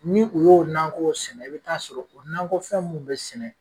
Ni u y'o nakɔw sɛnɛ, i bi taaa sɔrɔ, o nakɔ fɛn mun bɛ sɛnɛ